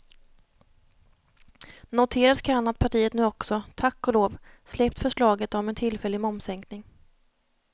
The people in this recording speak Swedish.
Noteras kan att partiet nu också, tack och lov, släppt förslaget om en tillfällig momssänkning.